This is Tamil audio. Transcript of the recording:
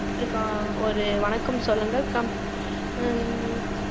computer க்கு ஒரு வணக்கம் சொல்லுங்கள் கம்~ உம்